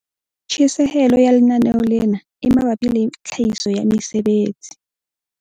Tjhesehelo ya lenaneo lena e mabapi le tlhahiso ya mesebetsi